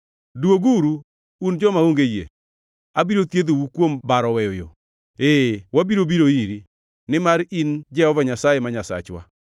“Dwoguru, un joma onge yie; abiro thiedhou kuom baro weyo yo.” “Ee, wabiro biro iri, nimar in Jehova Nyasaye ma Nyasachwa.